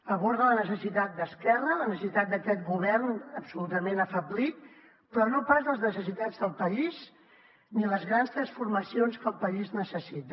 aborda la necessitat d’esquerra la necessitat d’aquest govern absolutament afeblit però no pas les necessitats del país ni les grans transformacions que el país necessita